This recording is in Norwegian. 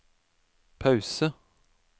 pause